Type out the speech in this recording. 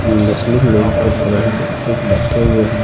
मुस्लिम पर खड़े हैं एक बैठे हुए हैं।